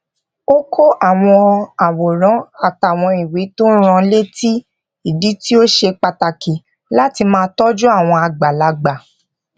ó kó àwọn àwòrán àtàwọn ìwé tó rán an létí ìdí tí ó ṣe pàtàkì láti máa tójú àwọn àgbàlagbà